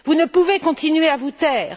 Vous ne pouvez continuer à vous taire!